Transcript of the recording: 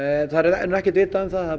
það er ekkert vitað það er